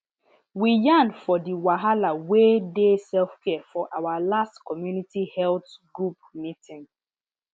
we yan for di wahala wey dey selfcare for our last community health group meeting